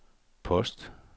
post